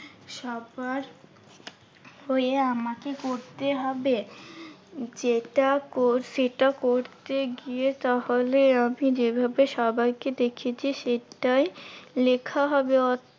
সবার হয়ে আমাকে করতে হবে। যেটা কর সেটা করতে গিয়ে তাহলে আমি যেভাবে সবাইকে দেখি যে, সেইটাই লেখা হবে